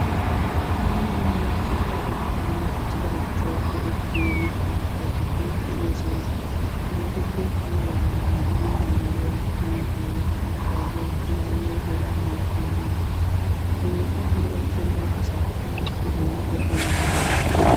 Dumma dumma kattatettawunne usttatettawu go'ettiyo mittaa ayifeti de'oosona. Hegeetuppe amaridaagee mangguwa, muuziya, abkaduwa hegaanne hegaa malatiyageeta. Hegeeta go'ettenna asaa ayiba qohoy gakkana danddayi?